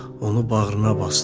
Onu bağrına basdı.